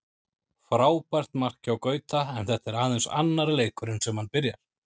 Frábært mark hjá Gauta, en þetta er aðeins annar leikurinn sem hann byrjar.